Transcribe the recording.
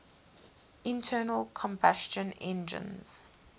internal combustion engines